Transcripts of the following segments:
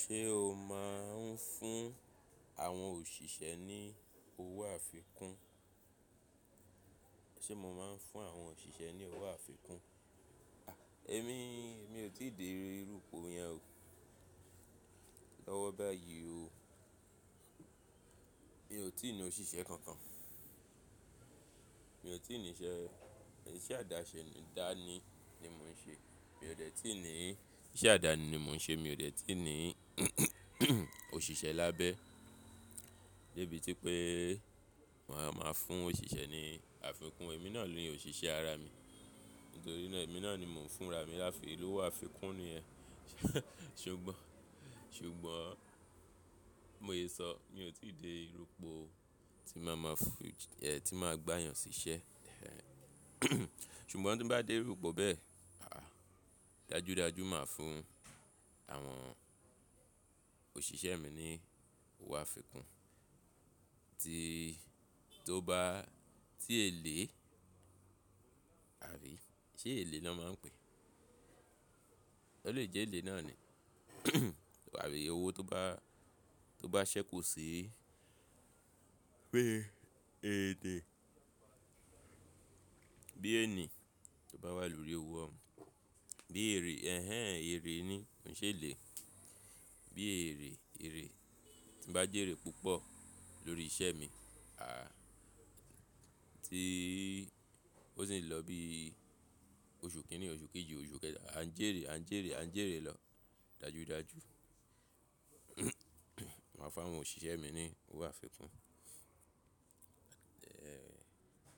Ṣé o máa n fún àwọn òṣìṣẹ́ ní owó àfikún? Sé mo máa n fún àwọn òṣìṣẹ́ ní owó àfikún? Ẹ̀mí, èmi ò tí ì dé irú ipò yẹn o, lọ́wọ́ báyìí o. Mi ò tí ì ní òṣìṣẹ́ kankan. Mi ò tí ì ní iṣẹ́, iṣẹ́ àdáṣe dání ni mò ń ṣe. Mi ò dẹ́tí ní, iṣẹ́ àdáni ni mò ń ṣe mi ò dẹ́tí ní òṣìṣẹ́ lábẹ́. Débì tí pé màá máa fún òṣìṣẹ́ ní àfikún, èmi náà ni òṣìṣẹ́ ara mi. Nítorí náà èmi náà ni mò ń fún ra mi láfi lówo àfikún ni yẹ ṣùgbọ́n, ṣùgbọ́n bi mo yé sọ, mi ò tí ì dé irú ipò tí màá máa fún, ẹ́ tí màá gba èeyàn sí iṣẹ́. Ṣùgbọ́n tí ń bá dé irú ipò bẹ́ẹ̀, àá, dájúdájú màá fún àwọn òṣìṣẹ́ mi ní owó àfikún. Ti, to ba, ti ele, abi se ele lo maa n pe, o le je ele naa ni abi owo to ba, to ba se ku si---, ete bí èní tó bá wà lórí owó ọ ún, bí èrè, hẹhẹ̀n, èrè ni, kò n ṣe èlé. Bi ere, ere, ti n ba jere pupo lori ise mi, a, ti osi n lo bi osu kinni, osu keji, osu keta, a n jere, a n jere, a n jere lo, dajudaju màá fún àwọn òṣìṣẹ́ mi ní owó àfikún.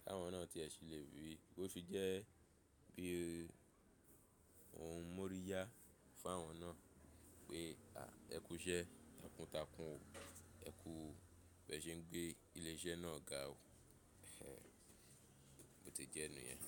Kawọn náà tí ẹ sì le ríi, bó fi jẹ́ bi ohun múriyá fún àwọn náà pé, à, ẹ kú iṣẹ́ takuntakun o, ẹ kú, bẹ́ẹ̀ ṣe ń gbé ilé iṣẹ́ náà ga o ee bo ti jẹ́ niyẹn.